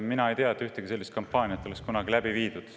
Mina ei tea, et oleks ühtegi sellist kampaaniat läbi viidud.